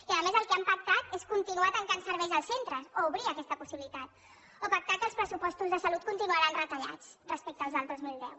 i a més el que han pactat és continuar tancant serveis als centres o obrir aquesta possibilitat o pactar que els pressupostos de salut continuaran retallats respecte als del dos mil deu